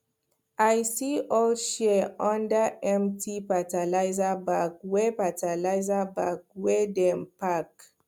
i see old shears under empty fertilizer bag wey fertilizer bag wey dem pack